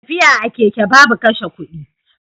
Tafiya a keke babu kashe kudi.